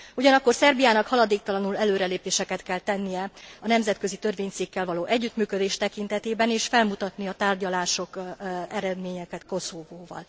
Ugyanakkor Szerbiának haladéktalanul előrelépéseket kell tennie a nemzetközi törvényszékkel való együttműködés tekintetében és felmutatni a tárgyalási eredményeket Koszovóval.